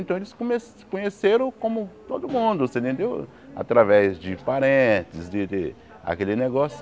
Então eles come se conheceram como todo mundo você entendeu, através de parentes de de, aquele negócio.